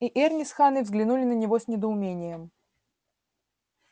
и эрни с ханной взглянули на него с недоумением